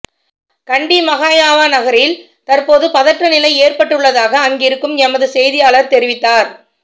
கண்டி மஹய்யாவ நகரில் தற்போது பதற்ற நிலை ஏற்பட்டுள்ளதாக அங்கிருக்கும் எமது செய்தியாளர் தெரிவித்தார்